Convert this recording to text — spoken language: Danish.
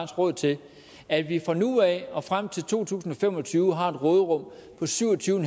råd til at vi fra nu af og frem til to tusind og fem og tyve har et råderum på syv og tyve